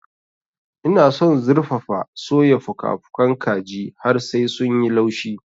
Ina son zurfafa-soya fuka-fukan kaji har sai sun yi laushi.